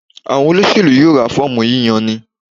Àwọn olóṣèlú yóò ra fọ́ọ̀mù yíyani.